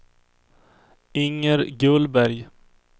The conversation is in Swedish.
Inger Gullberg